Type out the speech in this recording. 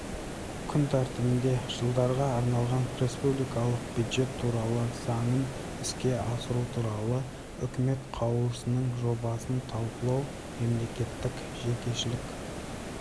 күн тәртібінде жылдарға арналған республикалық бюджет туралы заңын іске асыру туралы үкіметі қаулысының жобасын талқылау мемлекеттік-жекешелік